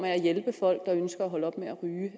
af at hjælpe folk der ønsker at holde op med at ryge